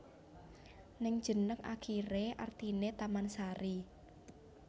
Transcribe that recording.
Ning jeneg akiré artiné tamansari